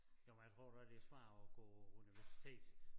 Nåh men jeg tror da det svært at gå på universitet